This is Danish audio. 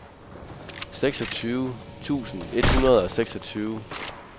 seksogtyve tusind et hundrede og seksogtyve